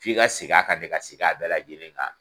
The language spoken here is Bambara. F'i ka segin a kan de ka segin a bɛɛ lajɛlen kan.